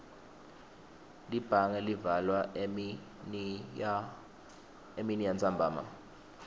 libhange livalwa eminiyantsambama